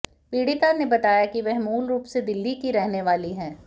पीड़िता ने बताया की वह मूल रूप से दिल्ली की रहने वाली है